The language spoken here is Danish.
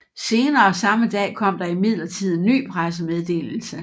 Senere samme dag kom der imidlertid en ny pressemeddelelse